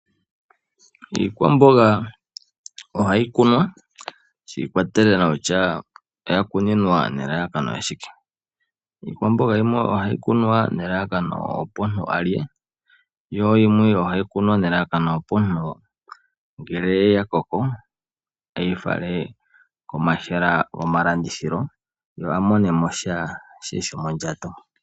Iikwamawa ohayi kunwa shi ikwatelela kutya oya kuninwa nelalakano lyashike. Iikwamboga yimwe ohayi kunwa nelalakano opo omuntu alye ,yo yimwe ohayi kunwa nelalakano opo ngele ya koko eyifale komahala gomalandithilo ye amonemo sha shomondjato